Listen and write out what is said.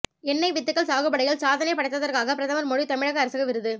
எண்ணெய் வித்துகள் சாகுபடியில் சாதனை படைத்ததற்காக பிரதமர் மோடி தமிழக அரசுக்கு விருது